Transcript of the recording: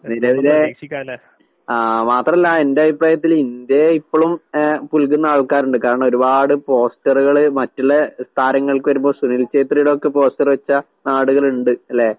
നിലവില് ആഹ് മാത്രല്ല എന്റഭിപ്രായത്തില് ഇന്ത്യയെ ഇപ്പഴും ഏഹ് പുൽകുന്ന ആൾക്കാരിണ്ട്. കാരണൊരുപാട് പോസ്റ്ററ്കള്, മറ്റ്ള്ള താരങ്ങൾക്ക് വരുമ്പോ സുനീല്‍ ഷെത്രിയുടെയൊക്കെ പോസ്റ്ററ് വെച്ച നാട്കളിണ്ട്, അല്ലേ?